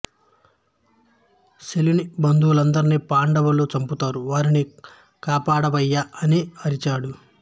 శల్యుని బంధువులందరినీ పాండవులు చంపుతారు వారిని కాపాడవయ్యా అని అరిచాడు